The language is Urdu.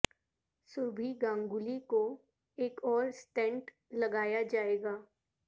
سوربھی گنگولی کو ایک اور اسٹینٹ لگایا جائے گا